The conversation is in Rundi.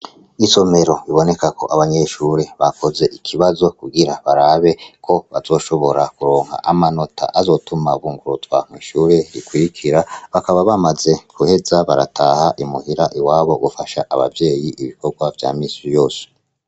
Isomero bibonekako abanyeshure bakoze ikibazo kugira barabe ko bazoshobora kuronka amanota azotuma bunguruzwa mw'ishure rikurikira, bakaba bamaze guheza barataha imuhira iwabo gufasha bavyeyi ibikorwa vya misi yose.